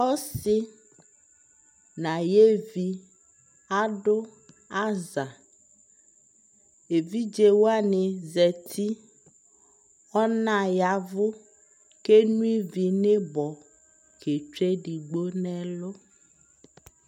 ɔsii nu ayɛvi adʋ aza, ɛvidzɛ wani zati, ɔna yavʋ kʋ ɛnɔ ivi nʋibɔ kɛtwɛ ɛdigbɔ nʋɛlʋ